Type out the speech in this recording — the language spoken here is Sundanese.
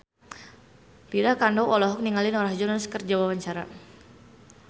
Lydia Kandou olohok ningali Norah Jones keur diwawancara